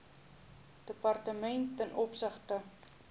departemente ten opsigte